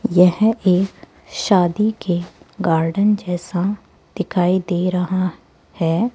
यह एक शादी के गार्डन जैसा दिखाई दे रहा है।